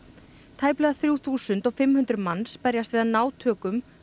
tæplega þrjú þúsund og fimm hundruð manns berjast við að ná tökum